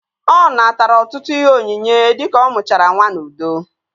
Ọ natara ọtụtụ ihe onyinye dika ọ mụchara nwa n'udo